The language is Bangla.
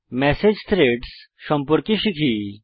মেসেজ থ্রেডস সম্পর্কে শিখি